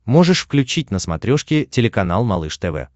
можешь включить на смотрешке телеканал малыш тв